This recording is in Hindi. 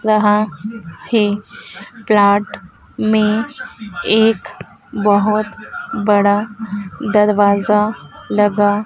यहां है ग्रांट में एक बहुत बड़ा दरवाजा लगा--